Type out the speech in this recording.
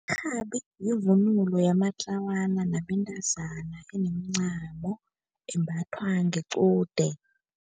Irhabi yivunulo yamatlawana nabentazana enemncamo, imbathwa ngequde.